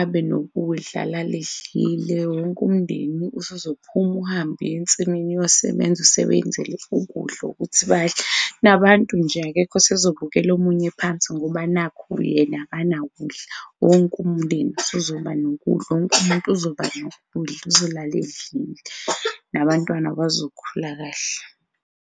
abe nokudlala alala edlile wonke umndeni usuzophuma uhambe uy'ensimini uyosebenza, usebenzele ukudla ukuthi badle, nabantu nje akekho osezobukela omunye phansi ngoba nakhu yena akanakudla wonke umndeni usuzoba nokudla, wonke umuntu uzoba nokudla uzolala edlile nabantwana bazokhula kahle.